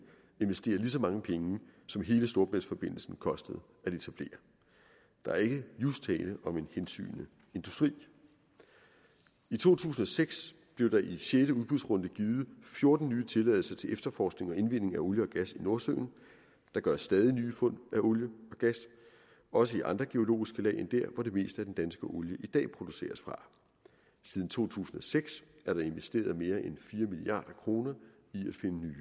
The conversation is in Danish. investerer lige så mange penge som hele storebæltsforbindelsen kostede at etablere der er ikke just tale om en hensygnende industri i to tusind og seks blev der i sjette udbudsrunde givet fjorten nye tilladelser til efterforskning og indvinding af olie og gas i nordsøen der gøres stadig nye fund af olie og gas også i andre biologiske lag end der hvor det meste af den danske olie i dag produceres fra siden to tusind og seks er der investeret mere end fire milliard kroner